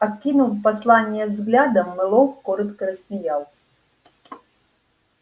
окинув послание взглядом мэллоу коротко рассмеялся